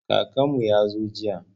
Kakanmu ya zo jiya.